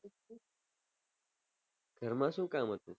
ઘર માં શું કામ હતું